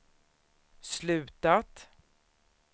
slutat